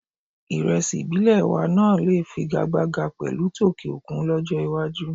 Ìrẹsì ìbílẹ̀ wa náà lè figagbága pẹ̀lú tòkè òkun lọ́jọ́ iwájú.